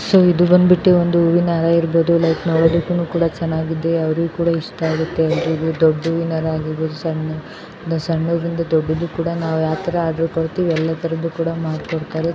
So ಇದು ಬಂದ್ಬಿಟ್ಟು ಒಂದು ಹೂವಿನ ಹಾರ ಇರಬಹುದು .ಲೈಕ್ ನೋಡೋದಕ್ಕೂ ಕೂಡ ಚೆನ್ನಾಗಿದೆ .ಅವರಿಗೂನು ಕೂಡ ಇಷ್ಟ ಆಗುತ್ತೆ ದೊಡ್ಡ ಹೂವಿನ ಹಾರ ಆಗಿರಬಹುದು ಸಣ್ಣ ಸಣ್ಣದ್ರಿಂದ ದೊಡ್ಡದಾಗಿರಬಹುದು. ನಾವ್ ಯಾವ್ ತರ ಆರ್ಡರ್ ಕೊಡ್ತೀವಿ ಎಲ್ಲ ತರ ಕೂಡ ಮಾಡಿಕೊಡುತ್ತಾರೆ.